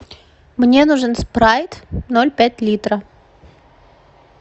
мне нужен спрайт ноль пять литра